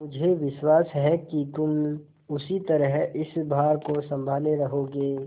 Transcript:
मुझे विश्वास है कि तुम उसी तरह इस भार को सँभाले रहोगे